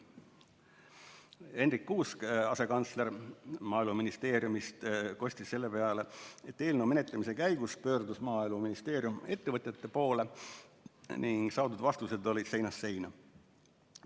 Hendrik Kuusk, asekantsler Maaeluministeeriumist, kostis selle peale, et eelnõu menetlemise käigus pöördus Maaeluministeerium ettevõtjate poole ning saadud vastused olid seinast seina.